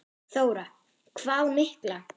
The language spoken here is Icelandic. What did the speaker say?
Þóra: Hvað mikla?